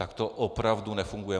Tak to opravdu nefunguje.